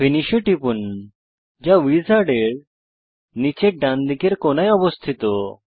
finish এ টিপুন যা উইজার্ডের নীচের ডানদিকের কোণায় অবস্থিত